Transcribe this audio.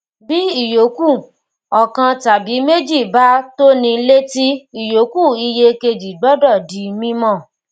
bí ìyoku ọkan tàbí méjì bá tóni létí ìyoku iye kejì gbọdọ di mímọ